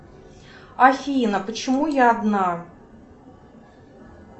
афина почему я одна